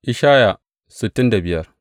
Ishaya Sura sittin da biyar